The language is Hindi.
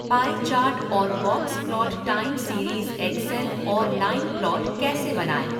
पाई चार्ट और box plot time series Excel और लाइन प्लॉट कैसे बनाएं?